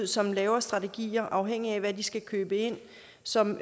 som laver strategier afhængigt af hvad de skal købe ind som